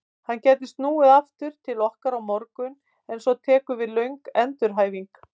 Hann gæti snúið aftur til okkar á morgun en svo tekur við löng endurhæfing.